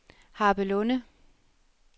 Harpelunde